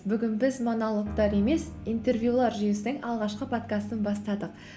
бүгін біз монологтар емес интервьюлар жүйесінің алғашқы подкастын бастадық